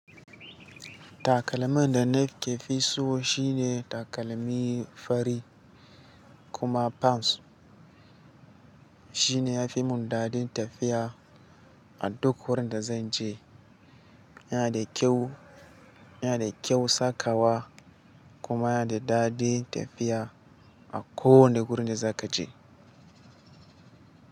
Takalmin da na ke fi so shine takalmi fari kuma pams, shine ya fi mun dadin tafiya a duk wurin da zan je. Yana da kyau, yana da kyau sakawa kuma yana da dadin tafiya a kowane wurin da za ka je.